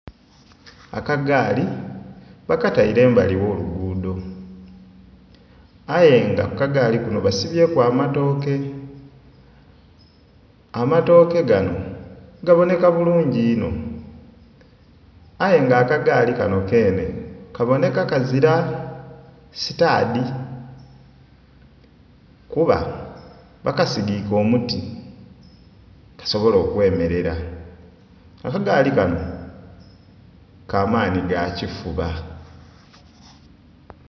Akagaali bakataire embali ogh'oluguudo aye nga kukagaali kuno basibyeku amatooke, amatooke gano gabooneka bulungi inho aye nga akagaali kano keene kabooneka kazira sitaadi kuba bakasigike omuti kasobole okwemerera, akagaali kano kamaani gakifuba.